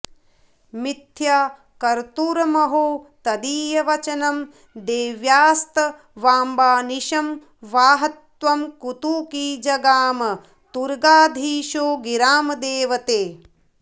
मिथ्या कर्तुमहो तदीयवचनं देव्यास्तवाम्बानिशं वाहत्वं कुतुकी जगाम तुरगाधीशो गिरां देवते